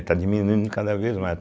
É, está diminuindo cada vez mais.